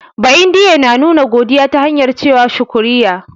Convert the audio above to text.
Ba'indiye na nuna godiya ta hanyar ce wa "shukriya".